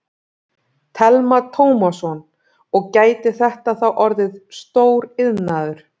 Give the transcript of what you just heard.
Telma Tómasson: Og gæti þetta þá orðið stór iðnaður?